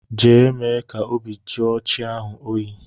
Jee mee ka obi jụọ chi ahu oyi!!